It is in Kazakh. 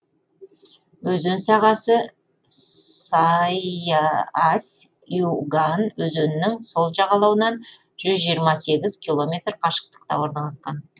өзен сағасы сайыась юган өзенінің сол жағалауынан жүз жиырма сегіз километр қашықтықта орналасқан